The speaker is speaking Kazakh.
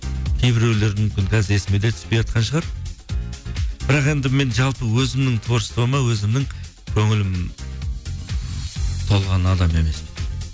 кейбіреулер мүмкін қазір есіме де түспейатқан шығар бірақ енді мен жалпы өзімнің творчествома өзімнің көңілім толған адам емеспін